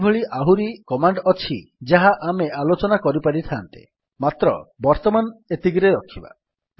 ଏଭଳି ଆହୁରି କମାଣ୍ଡ୍ ଅଛି ଯାହା ଆମେ ଆଲୋଚନା କରିପାରିଥାନ୍ତେ ମାତ୍ର ବର୍ତ୍ତମାନ ଏତିକିରେ ରଖିବା